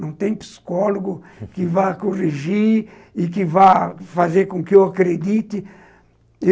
Não tem psicólogo que vá corrigir e que vá fazer com que eu acredite.